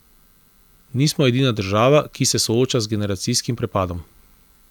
Nismo edina država, ki se sooča z generacijskim prepadom.